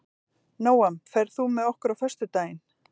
Nóam, ferð þú með okkur á föstudaginn?